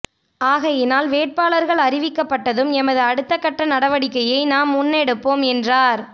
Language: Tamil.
ஆகையினால் வேட்பாளர்கள் அறிவிக்கப்பட்டதும் எமது அடுத்த கட்ட நடவடிக்கையை நாம் முன்னெடுப்போம் என்றார்